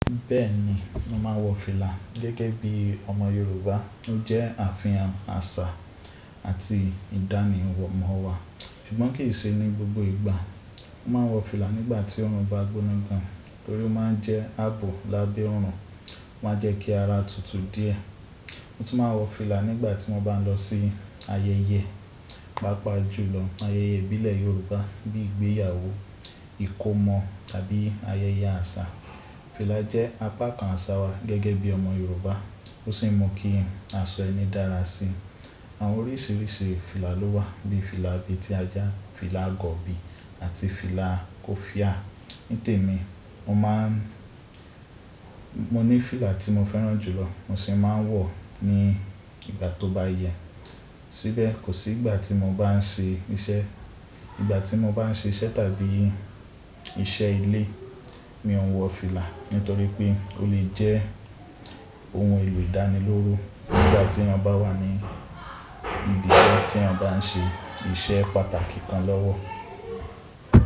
Bẹ́ẹ̀ ni, mo máa ń wọ fìlà gẹ́gẹ́ bí ọmọ Yorùbá. Ó jẹ́ àfihàn àṣà àti ìdánimọ̀ wa. Ṣùgbọ́n kì í ṣe ní gbogbo ìgbà. Mo máa ń wọ fìlà nígbà tí ọrùn bá gbóná gan, nítorí ó máa ń jẹ́ ààbò lábẹ́ ọrùn, ó máa ń jẹ́ kí ara tutù díẹ̀. Mo tún máa ń wọ fìlà nígbà tí mo bá ń lọ sí ayẹyẹ, pàápàá jùlọ ayẹyẹ ìbílẹ̀ Yorùbá bíi ìgbéyàwó, ìkómọ̀ tàbí ayẹyẹ àṣà. Fìlà jẹ́ apá kan àsà wa gẹ́gẹ́ bí ọmọ Yorùbá, ó sì mú kí asọ ẹni dára si. Àwọn oríṣiríṣi fìlà ló wà bíi fìlà abetí ajá, fìlà agọ̀bi àti fìlà kofíà. Nítèmi, mo maa n mo ní fìlà tí mo fẹ́ràn jùlọ mo sì máa ń wọ̀ ọ́ ní ìgbà tó bá yẹ. Síbẹ̀, kò sí ìgbà tí mo bá ń ṣe iṣẹ́, ìgbà tí mo bá ń ṣe iṣẹ́ tàbí iṣẹ́ ilé mi ò ń wọ fìlà nítorí pé ó lè jẹ́ ohun èlò ìdánilóró nígbà tí eyan bá wà ní ibiṣẹ́ tí eyan bá ń ṣe iṣẹ́ pàtàkì kan lọ́wọ́.